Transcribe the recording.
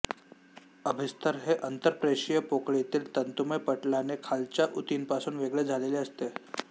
अभिस्तर हे अन्तर्प्रेशिय पोकळीतील तंतूमय पटलाने खालच्या उतींपासून वेगळे झालेले असते